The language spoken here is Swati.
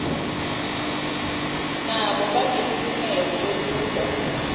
nabo banelilungelo lekuba